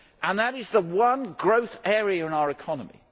That is the one growth area in our economy.